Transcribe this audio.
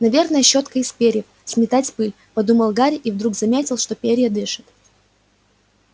наверное щётка из перьев сметать пыль подумал гарри и вдруг заметил что перья дышат